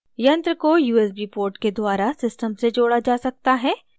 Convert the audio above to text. यंत्र डिवाइस को usb port के द्वारा system से जोड़ा जा सकता है